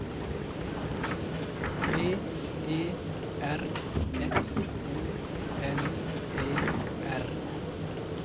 P E R S O N E R